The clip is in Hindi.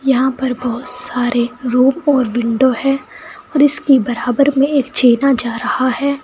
यहां पर बहुत सारे रूम और विंडो है और इसके बराबर में जा रहा है।